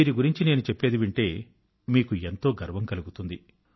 వీరి గురించి నేను చెప్పేది వింటే మీకు ఎంతో గర్వం కలుగుతుంది